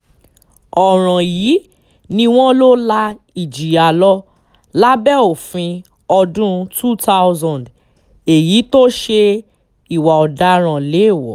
ọ̀ràn yìí ni wọ́n lọ la ìjìyà lọ lábẹ́ òfin ọdún 2000 èyí tó ṣe ìwà ọ̀daràn léèwọ̀